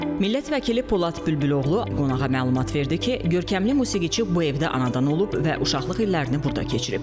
Millət vəkili Polad Bülbüloğlu qonağa məlumat verdi ki, görkəmli musiqiçi bu evdə anadan olub və uşaqlıq illərini burda keçirib.